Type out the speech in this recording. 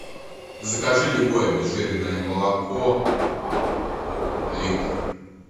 закажи любое обезжиренное молоко литр